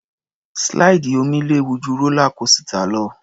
Slide omi léwu ju rólá kósità lọ.